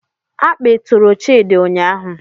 Akpị tụrụ Chidi ụnyahụ